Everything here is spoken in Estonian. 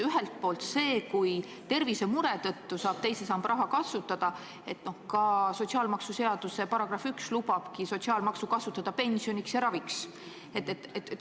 Ühelt poolt on see, kui tervisemure tõttu saab teise samba raha kasutada – no sotsiaalmaksuseaduse § 1 lubabki sotsiaalmaksu kasutada pensioniks ja raviks.